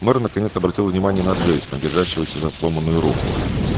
мэр наконец-то обратил внимание на джейсона держащегося за сломанную руку